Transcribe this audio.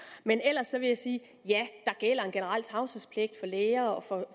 men ellers vil jeg sige at ja der gælder en generel tavshedspligt for læger og for